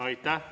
Aitäh!